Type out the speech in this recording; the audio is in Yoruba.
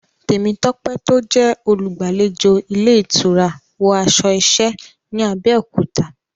Temitope tó jẹ́ olùgbàlejò ilé ìtura, wọ aṣọ iṣẹ́ ní Abẹ́òkúta.